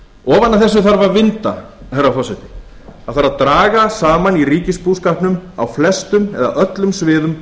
ofan af þessu þarf að vinda herra forseti það þarf að draga saman í ríkisbúskapnum á flestum eða öllum sviðum